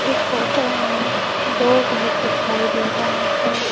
इस फोटो में दो घर दिखाई दे रहा है।